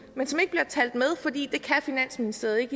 men som ikke bliver talt med fordi finansministeriet ikke